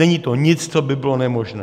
Není to nic, co by bylo nemožné.